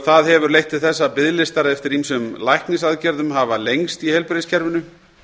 sem hefur leitt til þess að biðlistar eftir ýmsum læknisaðgerðum hafi lengst í heilbrigðiskerfinu